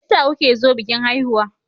Me yasa kuke zo bikin haihuwa?